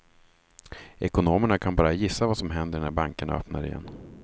Ekonomerna kan bara gissa vad som händer när bankerna öppnar igen.